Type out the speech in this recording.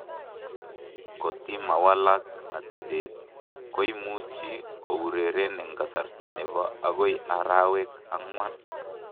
Kotimawalak atebeet , komaimuchi koureren en kasarta nebo akoi araweek angwan